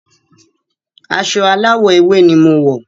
Aṣọ aláwọ̀ ewé ni mo wọ̀.